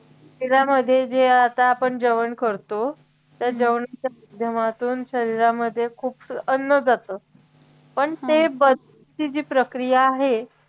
त्याच्यामध्ये जे आता आपण जेवण करतो त्या जेवण जेवणातून शरीरामध्ये खूपसं अन्न जात पण ते बस्तीची जी प्रक्रिया आहे